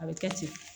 A bɛ kɛ ten